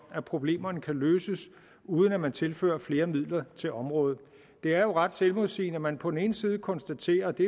at problemerne kan løses uden at man tilfører flere midler til området det er jo ret selvmodsigende at man på den ene side konstaterer at vi